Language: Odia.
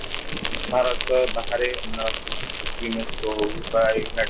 ଭାତର ବାହାରେ Mexico ହଉ ବା United state ହଉ